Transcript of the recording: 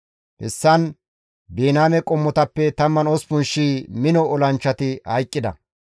Hessan Biniyaame qommotappe 18,000 mino olanchchati hayqqida;